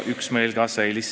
Kõik.